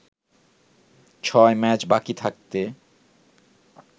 ছয় ম্যাচ বাকি থাকতে